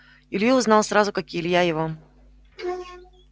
илью узнал сразу как и илья его